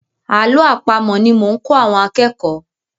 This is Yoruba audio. Àlọ́ àpamọ̀ ni mò ń kọ́ àwọn akẹ́kọ̀ọ́.